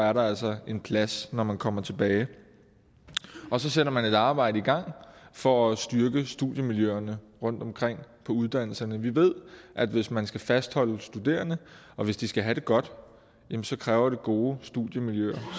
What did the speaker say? er der altså en plads når man kommer tilbage så sætter man et arbejde i gang for at styrke studiemiljøerne rundtomkring på uddannelserne vi ved at hvis man skal fastholde studerende og hvis de skal have det godt kræver det gode studiemiljøer